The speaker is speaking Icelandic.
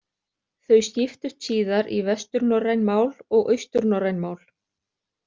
Þau skiptust síðar í vesturnorræn mál og austurnorræn mál.